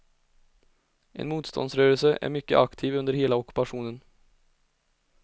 En motståndsrörelse är mycket aktiv under hela ockupationen.